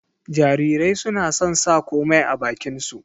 Jarirai suna son sa komai a bakin su